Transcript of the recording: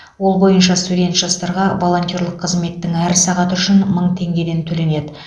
ол бойынша студент жастарға волонтерлік қызметтің әр сағаты үшін мың теңгеден төленеді